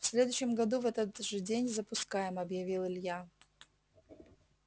в следующем году в этот же день запускаем объявил илья